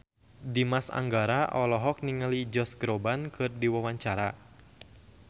Dimas Anggara olohok ningali Josh Groban keur diwawancara